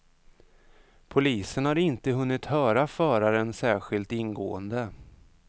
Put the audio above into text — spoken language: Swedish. Polisen har inte hunnit höra föraren särskilt ingående.